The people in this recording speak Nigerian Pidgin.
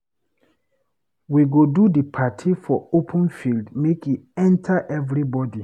We go do di party for open field make e enta everybodi